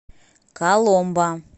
коломбо